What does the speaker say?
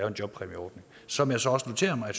en jobpræmieordning som jeg så også noterer mig